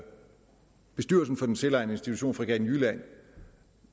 bestyrelsen for den selvejende institution fregatten jylland